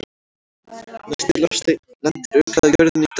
Næsti loftsteinn lendir örugglega á jörðinni í dag!